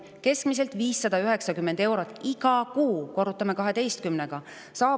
Hooldekodus elav pensionär saab avalikku ressurssi keskmiselt 509 eurot iga kuu, korrutame selle 12-ga.